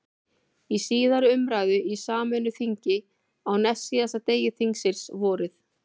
Í síðari umræðu í sameinu þingi, á næstsíðasta degi þingsins, vorið